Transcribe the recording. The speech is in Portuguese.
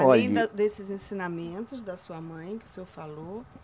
Olhe. Além da desses ensinamentos da sua mãe, que o senhor falou.